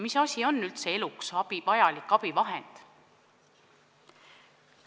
Mis asi on üldse eluks vajalik abivahend?